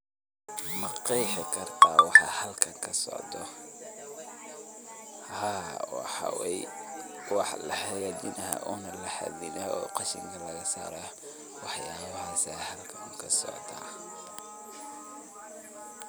Ma qeexi karta waxa halkan kasocdo, haa waxa weye wax lahagajinayo ona lahadinayo oo qashinka lagasarayo, wax yabahas aya xalkan kasocda.